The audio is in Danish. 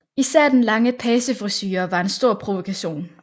Især den lange pagefrisure var en stor provokation